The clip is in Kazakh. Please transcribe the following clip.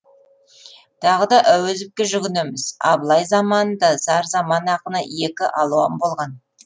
тағы да әуезовке жүгінеміз абылай заманында зар заман ақыны екі алуан болған